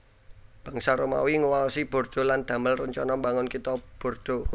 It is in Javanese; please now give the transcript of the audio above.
Bangsa Romawi nguwaosi Bordeaux lan damel rencana mbangun Kitha Bordeaux